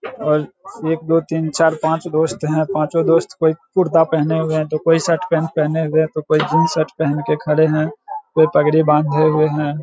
और एक दो तीन चार पांच दोस्त हैं पाँचों दोस्त कोई कुरता पहने हुए हैं तो कोई शर्ट पेंट पहने हुए तो कोई दिन जींस सर्ट पेहेन केे खड़े हैं कोई पगड़ी बांधे हुए हैं |